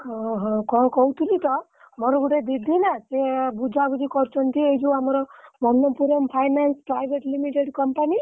ଓହୋ। କଣ କହୁଥିଲି ତ ମୋର ଗୋଟେ ଦିଦି ନା ସିଏ ବୁଝାବୁଝି କରୁଛନ୍ତି ଏଇ ଯୋଉ ଆମର Manappuram Finance Private Limited Company ।